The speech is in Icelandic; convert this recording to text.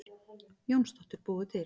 Jónsdóttir búið til.